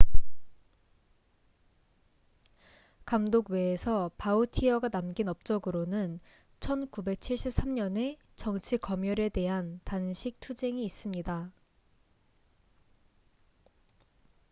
감독 외에서 바우티어가 남긴 업적으로는 1973년의 정치 검열에 대한 단식 투쟁이 있습니다